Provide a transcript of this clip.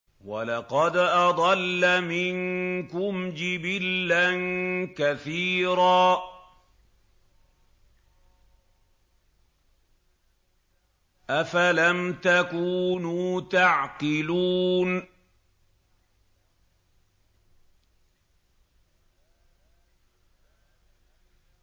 وَلَقَدْ أَضَلَّ مِنكُمْ جِبِلًّا كَثِيرًا ۖ أَفَلَمْ تَكُونُوا تَعْقِلُونَ